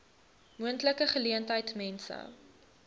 moontlike geleentheid mense